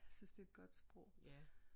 Jeg synes det er et godt sprog